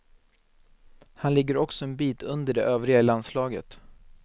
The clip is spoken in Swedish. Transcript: Han ligger också en bit under de övriga i landslaget.